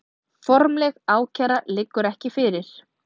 Formleg ákæra liggur ekki fyrir